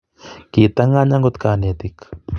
Kitangany agot konetik